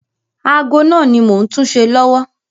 Ago náà ni mò ń túṣe lọ́wọ́.